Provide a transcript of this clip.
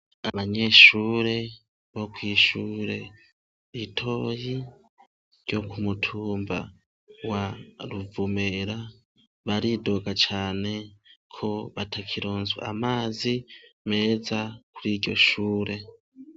Abanyeshure bo kw’ishure ritoyi ryo ku mutumba wa Ruvumera baridoga cane ko batakironswa amazi meza kuri iryoshure .